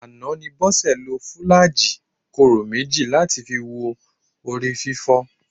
Àná ni Bọ́sẹ̀ lo fùlàájì kóró méjì láti fi wo orí fífọ́